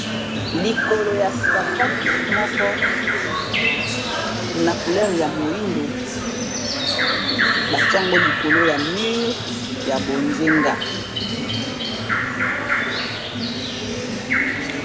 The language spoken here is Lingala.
likolo ya sapatu moko na couleure ya moindo batiango likolo ya mure ya bozenga